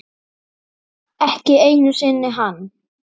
Murra úa, úa, úa.